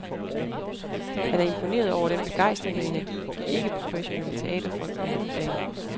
Han er imponeret over den begejstring og energi de ikkeprofessionelle teaterfolk lægger for dagen.